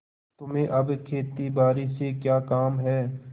तुम्हें अब खेतीबारी से क्या काम है